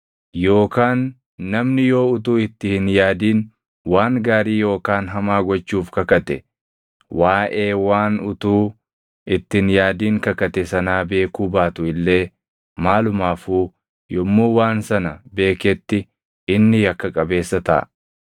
Yookaan namni yoo utuu itti hin yaadin waan gaarii yookaan hamaa gochuuf kakate, waaʼee waan utuu itti hin yaadin kakate sanaa beekuu baatu illee maalumaafuu yommuu waan sana beeketti inni yakka qabeessa taʼa.